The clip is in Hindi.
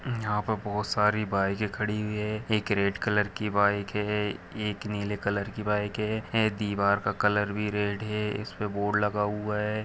हम्म यहा पे बहुत सारी बाईके खड़ी हुयी है एक रेड कलर की बाईक है एक नीले कलर की बाईक है हे दीवार का कलर भी रेड है इसपे बोर्ड लगा हुवा हैं।